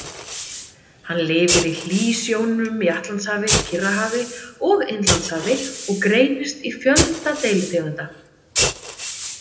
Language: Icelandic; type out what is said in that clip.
Hann lifir í hlýsjónum í Atlantshafi, Kyrrahafi og Indlandshafi og greinist í fjölda deilitegunda.